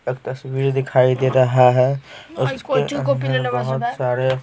एक तस्वीर दिखाई दे रहा है उसके अंदर बहुत सारे --